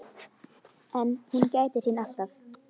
En hún gætir sín alltaf.